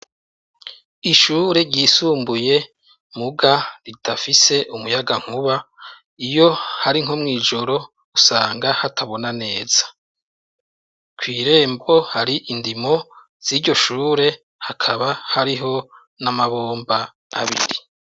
Ishure ryisumbuye mugabo ridafise umuyagankuba iyo hari nko mw'ijoro usanga hatabona neza. Kw'irembo hari indimo z'iryo shure hakaba hariho n'amabomba abiri.